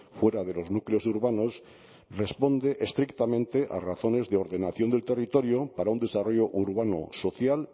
fuera de los núcleos urbanos responde estrictamente a razones de ordenación del territorio para un desarrollo urbano social